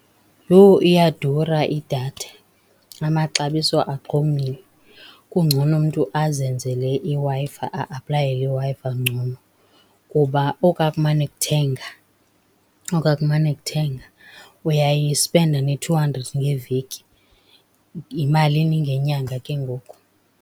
Yho! Iyadura idatha, amaxabiso axhomile. Kungcono umntu azenzele iWi-Fi, a-aplayele iWi-Fi ngcono kuba okwa kumane kuthenga, okwa kumane kuthenga uyayispenda ne-two hundred ngeveki. Yimalini ngenyanga ke ngoku?